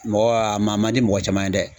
Mɔgɔ a ma man di mɔgɔ caman ye dɛ.